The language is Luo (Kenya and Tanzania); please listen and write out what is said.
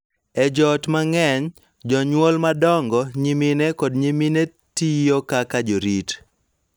E joot mang�eny, jonyuol madongo, nyimine, kod nyimine tiyo kaka jorit,